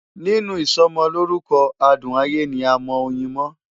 Nínú ìsọmọlórúkọ adùn ayé ni a mọ oyin mọ́.